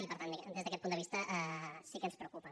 i per tant des d’aquest punt de vista sí que ens preocupa